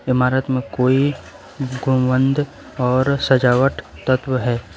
इमारत में कोइ गुम्बंद और सजावट तत्व है।